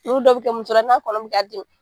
Ulu dɔw bɛ kɛ muso la n'a kɔnɔ bɛ k'a dimi.